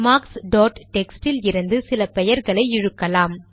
marks dot text இலிருந்து சில பெயர்களை இழுக்கலாம்